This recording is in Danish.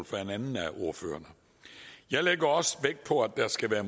fra en anden af ordførerne jeg lægger også vægt på at der skal være